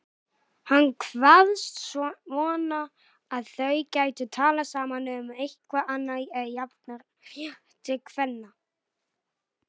Ég mundi kjósa þig Ungfrú heim ef ég réði einhverju um það. án gríns.